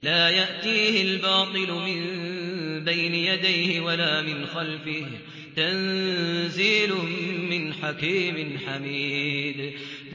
لَّا يَأْتِيهِ الْبَاطِلُ مِن بَيْنِ يَدَيْهِ وَلَا مِنْ خَلْفِهِ ۖ تَنزِيلٌ مِّنْ حَكِيمٍ حَمِيدٍ